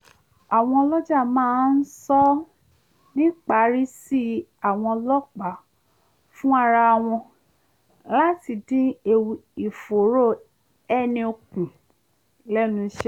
àwọn ọlọ́jà máa ń sọ nnipaìrìsí àwọn ọlọ́pàá fún ara wọn láti dín ewu ìfòòró ẹni kù lẹ́nuṣẹ́